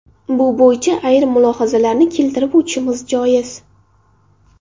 Bu bo‘yicha ayrim mulohazalarni keltirib o‘tishimiz joiz.